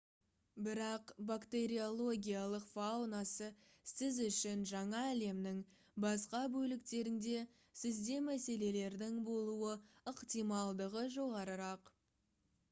бірақ бактериологиялық фаунасы сіз үшін жаңа әлемнің басқа бөліктерінде сізде мәселелердің болуы ықтималдығы жоғарырақ